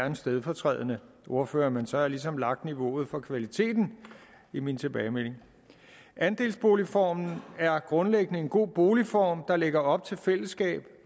en stedfortrædende ordfører men så har jeg ligesom lagt niveauet for kvaliteten i min tilbagemelding andelsboligformen er grundlæggende en god boligform der lægger op til fællesskab